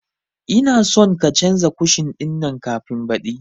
Ina son ka canza kushin ɗin nan kafin baɗi